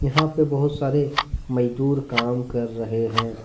यहां पे बहुत सारे मजदूर काम कर रहे हैं।